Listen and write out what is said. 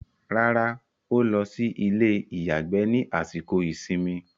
Rárá, ó lọ sí ilé-ìyàgbẹ́ ní àsìkò ìsinmi.